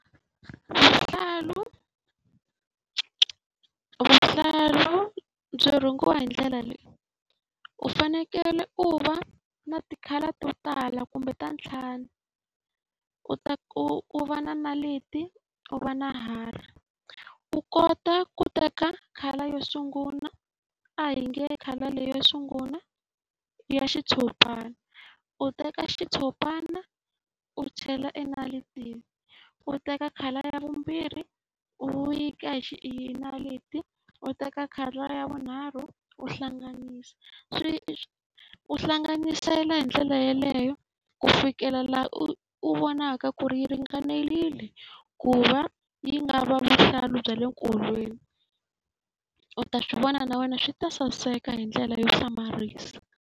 Vuhlalu vuhlalu byi rhungiwa hi ndlela leyi. U fanekele u va na ti-colour to tala kumbe ta ntlhanu, u ta ku u va na na leti, u va na hari. U kota ku teka colour yo sungula, a hi nge colour leyi yo sungula i ya xitshopana. U teka xitshopana u chela naritini, u teka colour ya vumbirhi u yi ka hi hi naliti, u teka colour ya vunharhu u hlanganisa. U hlanganisela hi ndlela yeleyo ku fikela laha u u vonaka ku ri yi ringanerile ku va yi nga va vuhlalu bya le nkolweni. U ta swi vona na wena swi ta saseka hi ndlela yo hlamarisa.